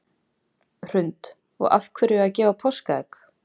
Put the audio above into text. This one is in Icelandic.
Hrund: Og af hverju að gefa páskaegg?